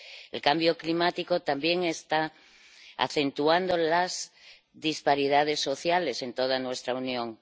El cambio climático también está acentuando las disparidades sociales en toda nuestra Unión.